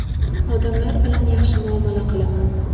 Odamlar bilan yaxshi muomala qilaman.